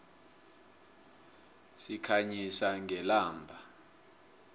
sikhanyisa ngelamba